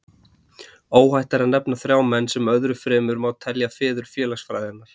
Óhætt er að nefna þrjá menn, sem öðrum fremur má telja feður félagsfræðinnar.